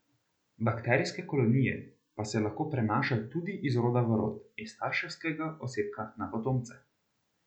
Bakterijske kolonije pa se lahko prenašajo tudi iz roda v rod, iz starševskega osebka na potomce.